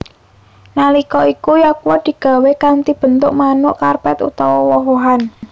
Nalika iku yakgwa digawé kanthi bentuk manuk karper utawa woh wohan